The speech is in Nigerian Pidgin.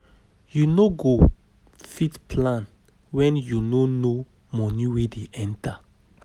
You no go fit plan when you no know money wey dey enter